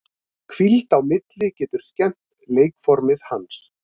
Hvíld á milli getur skemmt leikformið hans.